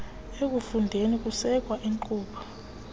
ekufundeni kusekwa iinkqubo